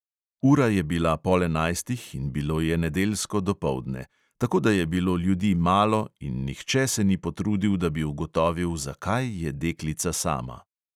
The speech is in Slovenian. Ura je bila pol enajstih in bilo je nedeljsko dopoldne, tako da je bilo ljudi malo in nihče se ni potrudil, da bi ugotovil, zakaj je deklica sama.